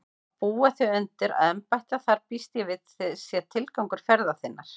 Að búa þig undir að embætta þar býst ég við sé tilgangur ferðar þinnar.